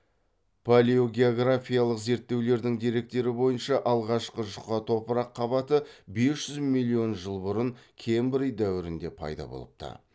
палеогеографиялық зерттеулердің деректері бойынша алғашқы жұқа топырақ қабаты бес жүз миллион жыл бұрын кембрий дәуірінде пайда болыпты